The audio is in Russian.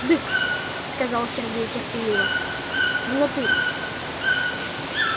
дык сказал сергей терпеливо в натуре